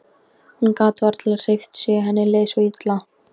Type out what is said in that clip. Hún gat varla hreyft sig, henni leið svo illa.